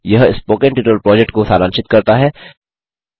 यह spoken tutorial project को सारांशित करता है